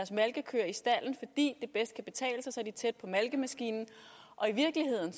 malkekøer i stalden fordi det bedst kan betale sig så er de tæt på malkemaskinen og i virkeligheden